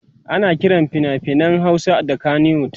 ana Kiran finafinan Hausa da kanywood